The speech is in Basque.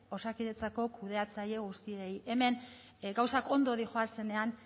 osakidetzako kudeatzaile guztiei hemen gauzak ondo doazenean